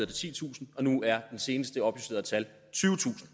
titusind og nu er det seneste opjusterede tal tyvetusind